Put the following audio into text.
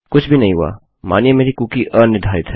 कुछ भी नहीं हुआ मानिए मेरी कुकी अनिर्धारित है